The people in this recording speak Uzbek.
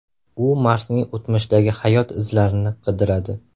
U Marsning o‘tmishdagi hayot izlarini qidiradi .